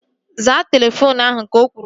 Zaa telefoonu ahu! Ka o kwuru